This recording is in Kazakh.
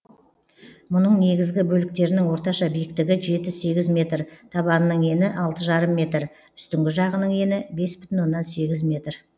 мұның негізгі бөліктерінің орташа биіктігі жеті сегіз метр табанының ені алты жарым метр үстіңгі жағының ені бес бүтін оннан сегіз метр